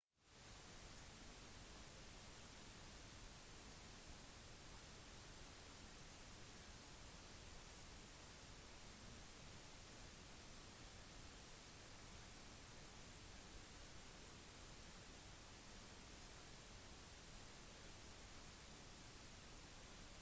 sist måned var det mange demonstrasjoner i polen da landet signerte acta noe som har ført til at polske myndigheter har besluttet å ikke ratifisere avtalen i denne omgang